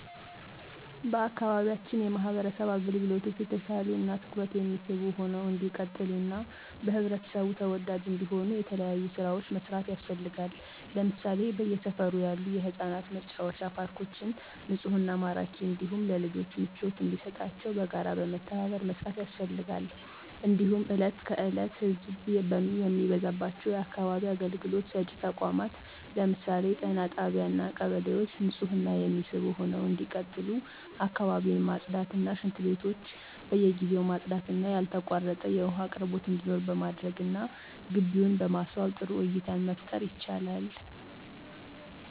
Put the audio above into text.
በአካባቢያችን የማህበረሰብ አገልግሎቶች የተሻሉ እና ትኩረት የሚስቡ ሁነው እንዲቀጥሉ እና በህብረተሰቡ ተወዳጅ እንዲሆኑ የተለያዩ ስራዎች መስራት ያስፈልጋል ለምሳሌ በየሰፈሩ ያሉ የህፃናት መጫወቻ ፓርኮችን ንፁህና ማራኪ እንዲሁም ለልጆች ምቾት እንዲሰጣቸው በጋራ በመተባበር መስራት ያስፈልጋል። እንዲሁም እለት ከዕለት ህዘብ የሚበዛባቸው የአካባቢ አገልግሎት ሰጭ ተቋማት ለምሳሌ ጤና ጣቢያ እና ቀበሌዎች ንፁህ እና የሚስቡ ሁነው እንዲቀጥሉ አካባቢን ማፅዳት እና ሽንትቤቶች በየጊዜው ማፅዳት እና ያልተቋረጠ የውሃ አቅርቦት እንዲኖር በማድረግ እና ግቢውን በማስዋብ ጥሩ እይታን መፍጠር ይቻላል።